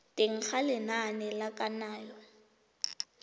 teng ga lenane la kananyo